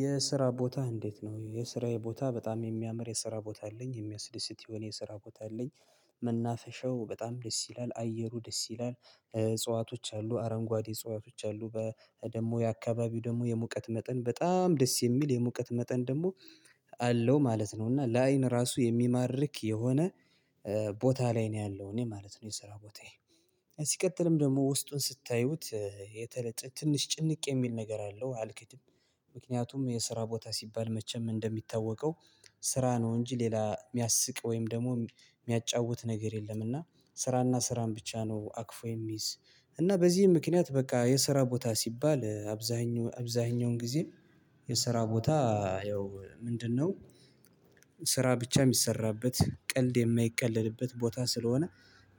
የስራ ቦታ እንዴት ነው የስራዬ ቦታ በጣም የሚያምር የስራ ቦታ አለኝ የሚያስደስት የሆነ የስራ ቦታ አለኝ። መናፈሻው በጣም ደስ ይላል አየሩ ደስ ይላል እጽዋቶች አሉ አረንጓዴ እጽዋቶች አሉ በ ደግሞ የአካባቢው ደግሞ የሙቀት መጠን በጣም ደስ የሚል የሙቀት መጠን ደግሞ አለው ማለት ነው። እና ለአይን ራሱ የሚማርክ የሆነ ቦታ ላይ ነው ያለው እኔ ማለት ነው። የስራ ቦታዬ ሲቀጥልም ደግሞ ውስጡን ስታዩት የተለጠ ትንሽ ጭንቅ የሚል ነገር አለው አልክትም። ምክንያቱም የስራ ቦታ ሲባል መቼም እንደሚታወቀው ስራ ነው እንጂ ሌላ ሚያስቅ ወይም ደግሞ ሚያጫውት ነገር የለም። እና ስራና ስራን ብቻ ነው አቅፎ የሚይዝ እና በዚህ ምክንያት በቃ የስራ ቦታ ሲባል አብዛኛው አብዛኛውን ጊዜ። የስራ ቦታ ያው ምንድነው? ስራ ብቻ ሚሰራበት ቀልድ የማይቀለድበት ቦታ ስለሆነ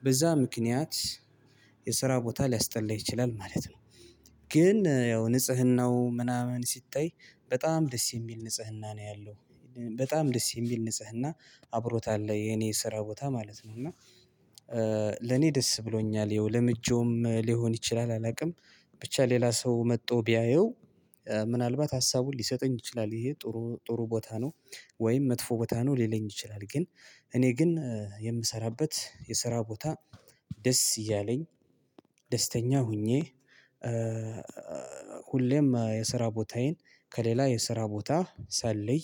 በዛ ምክንያት ቦታ ሊያስጠላ ይችላል ማለት ነው። ግን ያው ንጽህናው ምናምን ሲታይ በጣም ደስ የሚል ንጽህና ነው ያለው በጣም ደስ የሚል ንጽህና አብሮታል የኔ ስራ ቦታ ማለት ነው። እና ለኔ ደስ ብሎኛል ይኸው ለምጆውም ሊሆን ይችላል አላቅም። ብቻ ሌላ ሰው መጦ ቢያየው ምናልባት ሀሳቡን ሊሰጠኝ ይችላል ይሄ ጥሩ ጥሩ ቦታ ነው። ወይም መጥፎ ቦታ ነው ሊለኝ ይችላል። ግን እኔ ግን የምሰራበት የስራ ቦታ ደስ እያለኝ ደስተኛ ሆኜ። ሁሌም የስራ ቦታዬን ከሌላ የስራ ቦታ ሳለይ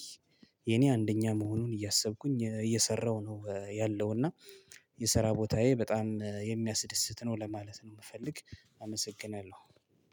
የኔ አንደኛ መሆኑን እያሰብኩኝ እየሰራሁ ነው ያለው። እና የስራ ቦታዬ በጣም የሚያስደስት ነው ለማለት ነው ምፈልግ አመሰግናለሁ።